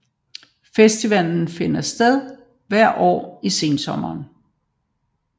Festivalen finder sted hvert år i sensommeren